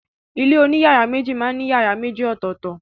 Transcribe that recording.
Ilé oní yàrá méjì máa ń ní yàrá méjì ọ̀tọ̀tọ̀.